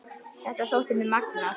Þetta þótti mér magnað.